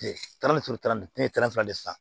Kile tan ni duuru tana ne ye tɛrɛfu de ye sisan